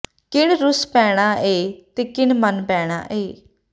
ਕਿਨ ਰੁੱਸ ਪੈਣਾ ਏ ਤੇ ਕਿਨ ਮੰਨ ਪੈਣਾ ਏ